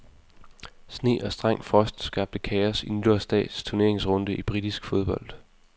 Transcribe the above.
Sne og streng frost skabte kaos i nytårsdags turneringsrunde i britisk fodbold.